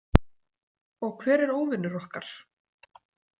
Og hver er óvinur okkar?